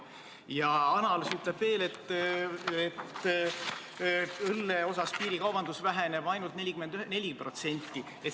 Ja analüüs ütleb veel, et õlle osas piirikaubandus väheneb ainult 44%.